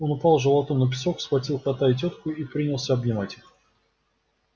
он упал животом на песок схватил кота и тётку и принялся обнимать их